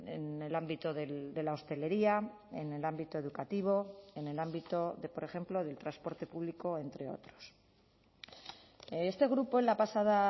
en el ámbito de la hostelería en el ámbito educativo en el ámbito de por ejemplo del transporte público entre otros este grupo en la pasada